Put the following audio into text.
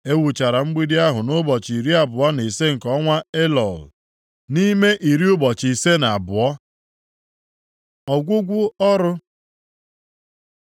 E wuchara mgbidi ahụ nʼụbọchị iri abụọ na ise nke ọnwa Elul, nʼime iri ụbọchị ise na abụọ. Ọgwụgwụ ọrụ